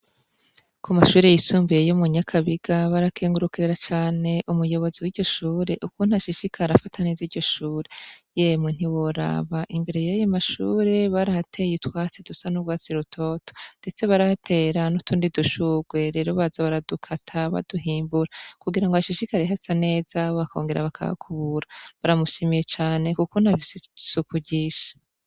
Kumashuri y'isumbuye yo munyakabiga barakenguruka cane umuyobozi wiryo shuri ukuntu ashishikara gufata neza iryo shure emwe ntiworaba, imbere yayo mashure barahateye utwatsi dusa n'urwatsi rutoto, ndetse barahatera n'utundi dushurwe rero baza baradukata baduhimbura kugira ngo hashishikare hasa neza bakongera baka hakubura baramushimiye cane kuko afise isuku ryinshi.